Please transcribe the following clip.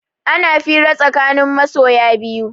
Ana fira tsakanin masoya biyu